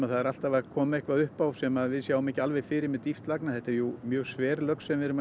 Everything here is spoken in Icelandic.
það er alltaf að koma eitthvað upp á sem við sjáum ekki fyrir með dýpt lagna þetta er mjög sver lögn sem við erum